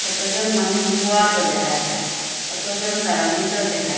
কতজন মানুষ বোয়াতও দেখা যার কতজন দাঁড়ানিত দেখা --